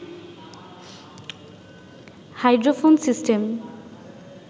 hydrophone system